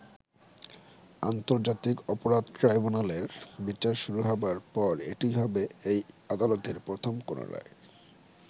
আন্তর্জাতিক অপরাধ ট্রাইব্যুনালের বিচার শুরু হবার পর এটিই হবে এই আদালতের প্রথম কোনও রায়।